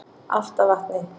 Álftavatni